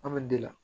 An bɛ de la